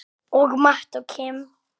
Og Matt og Kim?